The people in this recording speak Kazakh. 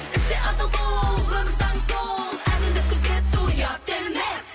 істе адал бол өмір заңы сол әділдік күзету ұят емес